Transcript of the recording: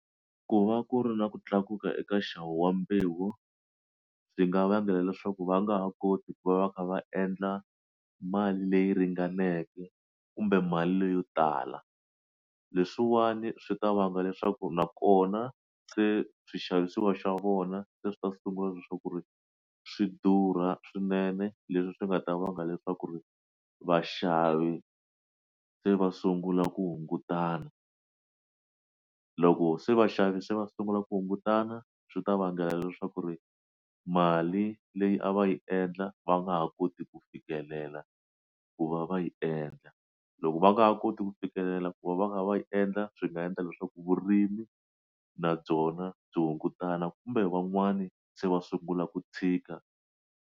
Ku va ku ri na ku tlakuka eka nxavo wa mbewu swi nga vangela leswaku va nga ha koti ku va va kha va endla mali leyi ringaneke kumbe mali leyo tala leswiwani swi ta vanga leswaku nakona se swixavisiwa xa vona se swi ta sungula leswaku ku ri swi durha swinene leswi swi nga ta vanga leswaku ri vaxavi se va sungula ku hungutana loko se vaxavi se va sungula ku hungutana swi ta vangela leswaku ri mali leyi a va yi endla va nga ha koti ku fikelela ku va va yi endla endla loko va nga ha koti ku fikelela ku va va kha va yi endla swi nga endla leswaku vurimi na byona byi hungutana kumbe van'wani se va sungula ku tshika.